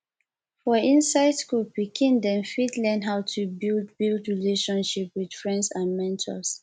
for inside school pikin dem fit learn how to build build relatiomship with friends and mentors